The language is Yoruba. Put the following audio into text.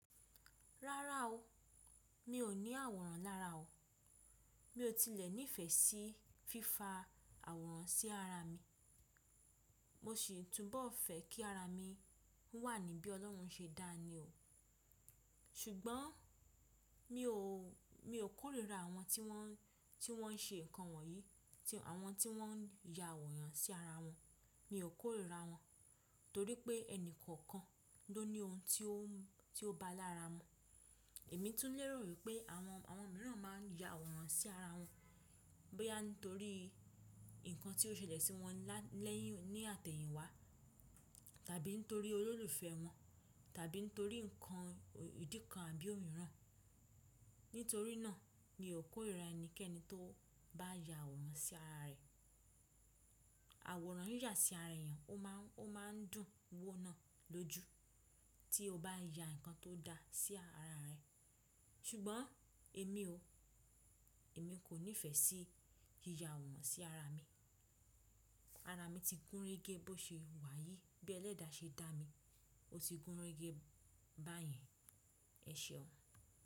Rárá o, mi ò ní àwòrán lára o. Mi ò tilẹ̀ nífẹ̀ẹ́ sí fífa àwòrán sí ara mi. Mo sì túbọ̀ fẹ́ kí ara mi wà ní bí Ọlọ́run ṣe dá a ni o. Ṣùgbọ́n mi ò kórìíra àwọn tí wọ́n ṣe nǹkan wọ̀nyí, àwọn tí wọ́n ya àwòrán sí ara wọn. Mi ò kórìíra wọn torí pé ẹni kọ̀ọ̀kan ló ní ohun tí ó ba lára mú Èmi tún lérò wípé àwọn mìíràn máa ń ya àwòrán sí ara wọn bóyá nítorí ǹkan tí ó ṣẹlẹ̀ sí wọn lẹ́yìn ní àtẹ̀yìn wá tàbí nítorí olólùfẹ́ wọn tàbí ń torí ǹkan ìdí kan àbí òmiran Nítorí náà mi ò kórìíra ẹnikẹ́ni tó bá ya àwòrán sí ara rẹ̀. Àwòrán yíyà sí ara èèyàn, ó máa ń dùn wóo ná lójú tí o bá ya ǹkan tó da sí ara rẹ. Ṣùgbọ́n èmi ò, èmi kò ní ìfẹ́ sí yíya àwòrán sí ara mi. Ara mi ti gúnrégé bó ṣe wá yìí, bí ẹlẹ́da ṣe dá mi, ó ti gúnrégé báyẹn. Ẹ̀ṣeun.